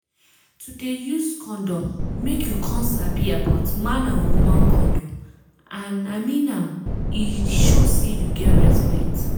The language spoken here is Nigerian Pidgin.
to dey use condom make you come sabi about man and woman condom and i mean am e show say you get respect